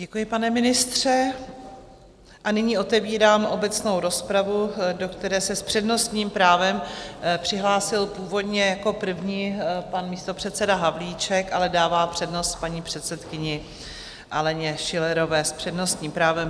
Děkuji, pane ministře, a nyní otevírám obecnou rozpravu, do které se s přednostním právem přihlásil původně jako první pan místopředseda Havlíček, ale dává přednost paní předsedkyni Aleně Schillerové s přednostním právem.